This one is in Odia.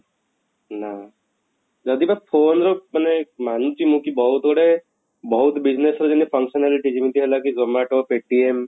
ନା ଯଦି ବା phone ର ମାନେ ମାନୁଛୁ ମୁଁ କି ବହୁତ ଗୁଡ଼େ ବହୁତ business ରେ ଯେମିତ functionality ଯେମିତି ହେଲା କି zomato paytm